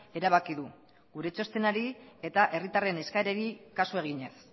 erabaki du gure txostenari eta herritarren eskaerari kasu eginez